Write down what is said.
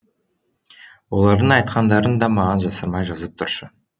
олардың айтқандарын да маған жасырмай жазып тұршы